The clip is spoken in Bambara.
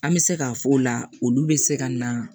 An bɛ se k'a fɔ o la olu bɛ se ka na